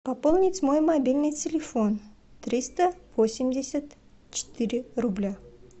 пополнить мой мобильный телефон триста восемьдесят четыре рубля